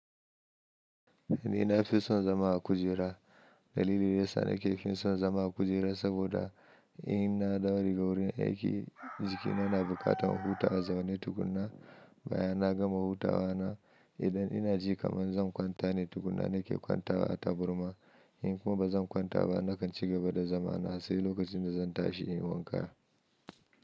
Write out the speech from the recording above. Ni na fi son zama a kujera. Dalili dayasa na ke son son zama a kujera saboda in na dawo daga wurin aiki, jikina na buƙatan huta a zaune tukuna. Bayan na gama hutawa na, idan ina ji kaman zan kwanta ne tukuna na ke kwantawa a taburma. In kuma ba zan kwanta ba, na kan cigaba da zama na sai lokacin da zan tashi in yi wanka.